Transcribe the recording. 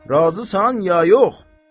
Razısan ya yox?